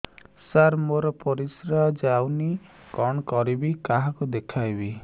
ସାର ମୋର ପରିସ୍ରା ଯାଉନି କଣ କରିବି କାହାକୁ ଦେଖେଇବି